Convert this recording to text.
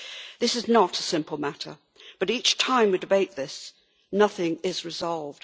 This is not a simple matter, but each time we debate this nothing is resolved.